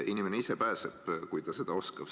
Inimene ise pääseb, kui ta seda oskab.